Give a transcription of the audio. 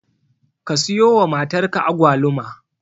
Ka siyowa matarka Agwaluma.